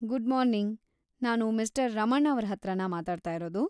Good morning, ನಾನು mister Raman ಅವರ ಹತ್ರನಾ ಮಾತಾಡ್ತಾ ಇರೋದು?